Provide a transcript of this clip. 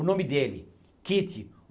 O nome dele, Kitty